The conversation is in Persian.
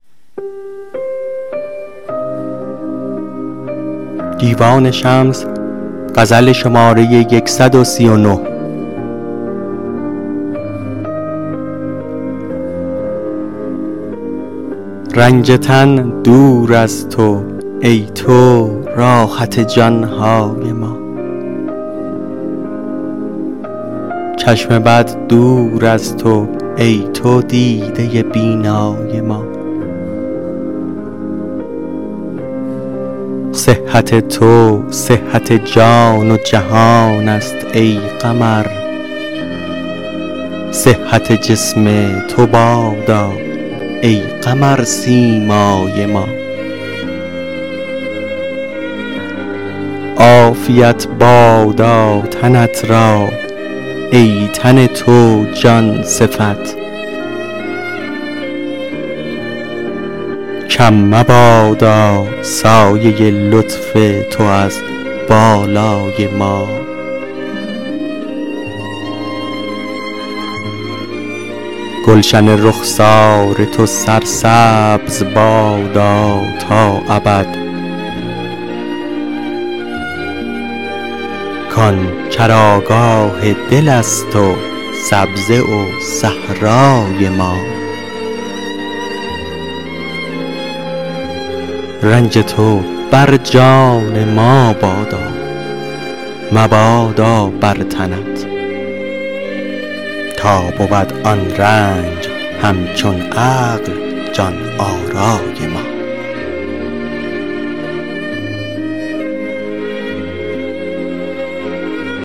رنج تن دور از تو ای تو راحت جان های ما چشم بد دور از تو ای تو دیده بینای ما صحت تو صحت جان و جهانست ای قمر صحت جسم تو بادا ای قمرسیمای ما عافیت بادا تنت را ای تن تو جان صفت کم مبادا سایه لطف تو از بالای ما گلشن رخسار تو سرسبز بادا تا ابد کان چراگاه دلست و سبزه و صحرای ما رنج تو بر جان ما بادا مبادا بر تنت تا بود آن رنج همچون عقل جان آرای ما